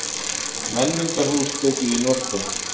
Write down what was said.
Menningarhús tekið í notkun